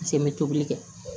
n bɛ tobili kɛ